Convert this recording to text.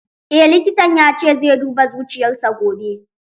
Eh likitan ya ce zai duba zuciyar sa gobe